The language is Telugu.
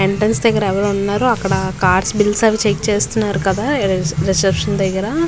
ఎంట్రన్స్ దగ్గర ఎవరో ఉన్నారు అక్కడ కార్స్ బిల్స్ చెక్ చేస్తున్నారు కదా రిసెప్షన్ దగ్గర.